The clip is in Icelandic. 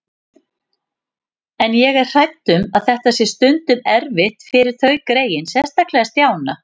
En ég er hrædd um að þetta sé stundum erfitt fyrir þau greyin, sérstaklega Stjána